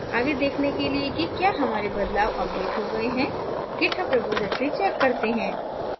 आगे देखने के लिए कि क्या हमारे बदलाव अपडेट हो गए हैं github repository check करते हैं